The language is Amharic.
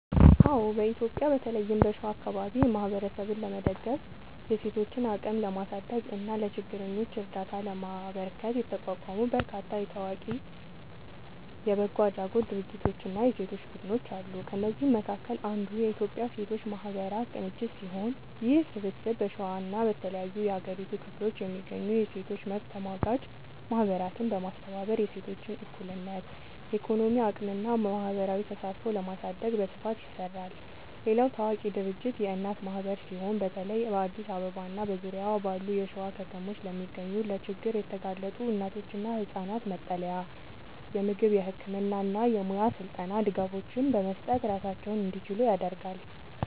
አዎ፣ በኢትዮጵያ በተለይም በሸዋ አካባቢ ማህበረሰብን ለመደገፍ፣ የሴቶችን አቅም ለማሳደግ እና ለችግረኞች እርዳታ ለማበርከት የተቋቋሙ በርካታ ታዋቂ የበጎ አድራጎት ድርጅቶችና የሴቶች ቡድኖች አሉ። ከእነዚህም መካከል አንዱ የኢትዮጵያ ሴቶች ማህበራት ቅንጅት ሲሆን፣ ይህ ስብስብ በሸዋና በተለያዩ የሀገሪቱ ክፍሎች የሚገኙ የሴቶች መብት ተሟጋች ማህበራትን በማስተባበር የሴቶችን እኩልነት፣ የኢኮኖሚ አቅምና ማህበራዊ ተሳትፎ ለማሳደግ በስፋት ይሰራል። ሌላው ታዋቂ ድርጅት የእናት ማህበር ሲሆን፣ በተለይ በአዲስ አበባና በዙሪያዋ ባሉ የሸዋ ከተሞች ለሚገኙ ለችግር የተጋለጡ እናቶችና ህጻናት መጠለያ፣ የምግብ፣ የህክምና እና የሙያ ስልጠና ድጋፎችን በመስጠት ራሳቸውን እንዲችሉ ያደርጋል።